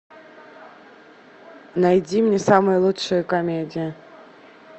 найди мне самые лучшие комедии